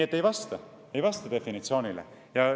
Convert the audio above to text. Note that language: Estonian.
Seega see ei vasta definitsioonile!